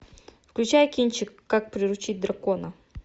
включай кинчик как приручить дракона